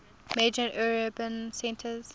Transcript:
major urban centres